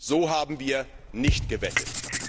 So haben wir nicht gewettet!